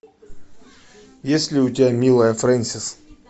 есть ли у тебя милая фрэнсис